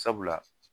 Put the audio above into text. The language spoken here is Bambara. Sabula